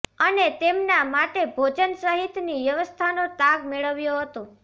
અને તેમના માટે ભોજન સહિતની વ્યવસ્થાનો તાગ મેળવ્યો હતો